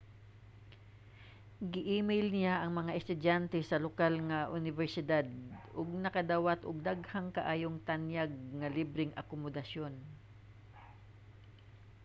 gi-email niya ang mga estudyante sa lokal nga unibersidad ug nakadawat og daghan kaayong tanyag nga libreng akomodasyon